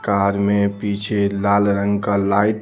car में पीछे लाल रंग का लाइट --